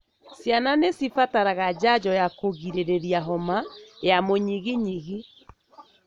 Ciana nĩ cibataraga janjo ya kũgirĩrĩa homa ya mũnyiginyigi.